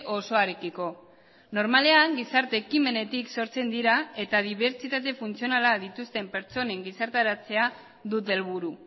osoarekiko normalean gizarte ekimenetik sortzen dira eta dibertsitate funtzionala dituzten pertsonen gizartaratzea dute helburu